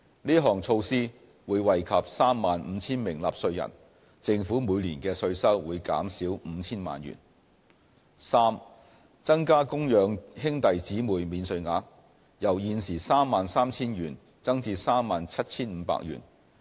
這項措施會惠及 35,000 名納稅人，政府每年的稅收會減少 5,000 萬元； c 增加供養兄弟姊妹免稅額，由現時 33,000 元增至 37,500 元。